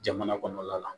Jamana kɔnɔla la